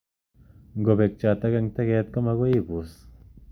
Ngopek chotok ing teket ko magoi ii pus.